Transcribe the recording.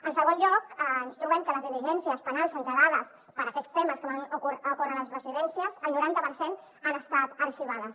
en segon lloc ens trobem que les diligències penals engegades per aquests temes que van ocórrer a les residències el noranta per cent han estat arxivades